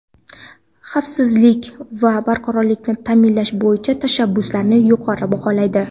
xavfsizlik va barqarorlikni ta’minlash bo‘yicha tashabbuslarini yuqori baholaydi.